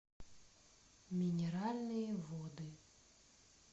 минеральные воды